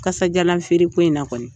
Kasajalan feere ko in na kɔni.